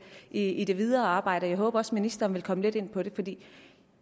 i det videre arbejde jeg håber også at ministeren vil komme lidt ind på det fordi